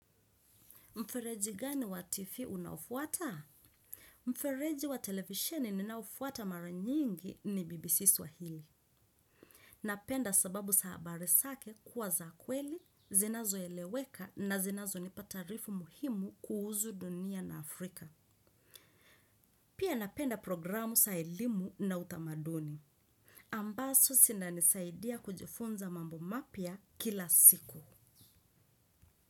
Mfereji gani wa tv unaofuata? Mfereji wa televisheni ninaofuata mara nyingi ni BBC. Swahili. Napenda sababu za habari zake kuwa za kweli, zinazoeleweka na zinazo nipa taarifu muhimu kuhusu dunia na Afrika. Pia napenda programu za elimu na utamaduni. Ambazo zinanisaidia kujifunza mambo mapya kila siku.